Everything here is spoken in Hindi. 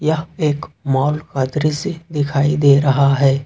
यह एक मॉल दृश्य से दिखाई दे रहा है।